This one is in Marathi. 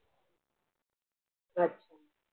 अच्छा